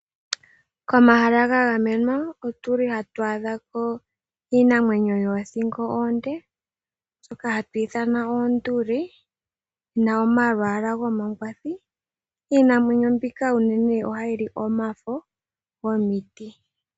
Komahala gagamenwa otuli hatu aadhako iinamwenyo yothingo onde mbyoka hatu ithana oonduli, yina omalwala gomangwathi, iinamwenyo mbika uunene oha yili omafo gomiti.